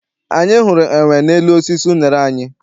Anyị hụrụ enwe n'elu osisi unere anyị.